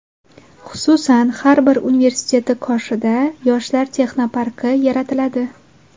Xususan, har bir universiteti qoshida Yoshlar texnoparki yaratiladi.